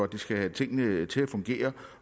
de skal have tingene til at fungere